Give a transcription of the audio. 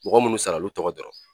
Mɔgɔ minnu sara olu tɔgɔ dɔrɔn